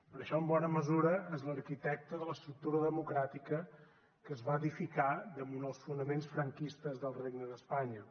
per això en bona mesura és l’arquitecte de l’estructura democràtica que es va edificar damunt els fonaments franquistes del regne d’espanya